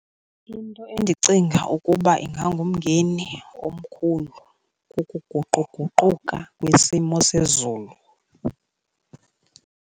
Into endicinga ukuba ingangumngeni omkhulu kukuguquguquka kwesimo sezulu.